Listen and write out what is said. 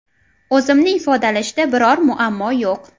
O‘zimni ifodalashda biror muammo yo‘q.